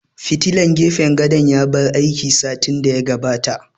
Fitilan gefen gadon ya bar aiki satin da ya gabata